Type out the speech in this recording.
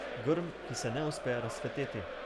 Grm, ki se ne uspe razcveteti.